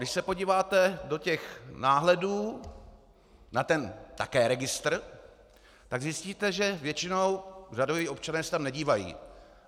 Když se podíváte do těch náhledů na ten také registr, tak zjistíte, že většinou řadoví občané se tam nedívají.